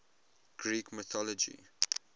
greek mythology